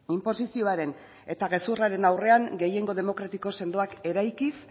inposizioaren eta gezurraren aurrean gehiengo demokratiko sendoak eraikiz